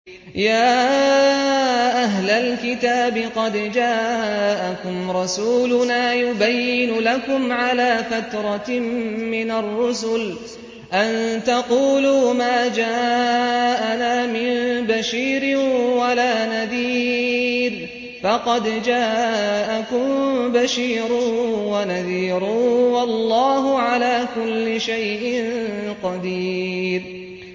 يَا أَهْلَ الْكِتَابِ قَدْ جَاءَكُمْ رَسُولُنَا يُبَيِّنُ لَكُمْ عَلَىٰ فَتْرَةٍ مِّنَ الرُّسُلِ أَن تَقُولُوا مَا جَاءَنَا مِن بَشِيرٍ وَلَا نَذِيرٍ ۖ فَقَدْ جَاءَكُم بَشِيرٌ وَنَذِيرٌ ۗ وَاللَّهُ عَلَىٰ كُلِّ شَيْءٍ قَدِيرٌ